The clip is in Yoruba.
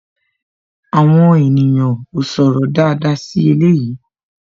Àwọn ènìyàn ó sọ̀rọ̀ dáadáa sí eléyìí